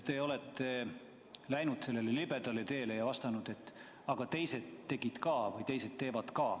Te olete läinud sellele libedale teele ja vastanud, et aga teised tegid ka või teised teevad ka.